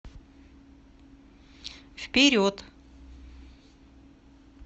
вперед